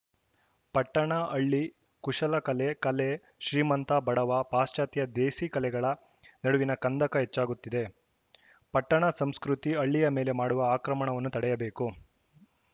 ಪಟ್ಟಣ ಹಳ್ಳಿ ಕುಶಲಕಲೆ ಕಲೆ ಶ್ರೀಮಂತ ಬಡವ ಪಾಶ್ಚಾತ್ಯ ದೇಸಿಕಲೆಗಳ ನಡುವಿನ ಕಂದಕ ಹೆಚ್ಚಾಗುತ್ತಿದೆ ಪಟ್ಟಣ ಸಂಸ್ಕೃತಿ ಹಳ್ಳಿಯ ಮೇಲೆ ಮಾಡುವ ಆಕ್ರಮಣವನ್ನು ತಡೆಯಬೇಕು